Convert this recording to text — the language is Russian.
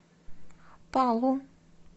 палу